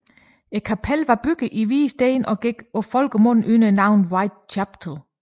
Kapellet var bygget i hvid sten og gik på folkemunde under navnet White Chapel